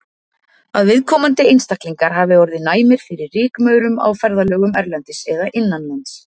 Að viðkomandi einstaklingar hafi orðið næmir fyrir rykmaurum á ferðalögum erlendis eða innanlands.